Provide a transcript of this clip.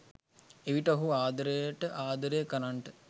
එවිට ඔහුට ආදරයට ආදරය කරන්නට